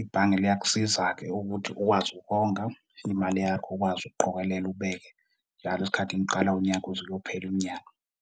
ibhange liyakusiza-ke ukuthi ukwazi ukonga imali yakho ukwazi ukuqokelela ubeke njalo isikhathi kuqala unyaka uze uyophela unyaka.